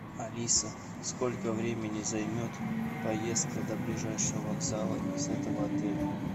алиса сколько времени займет поездка до ближайшего вокзала из этого отеля